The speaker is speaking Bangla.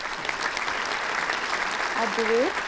at the rate